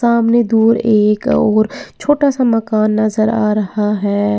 सामने दूर एक और छोटा सा मकान नजर आ रहा है।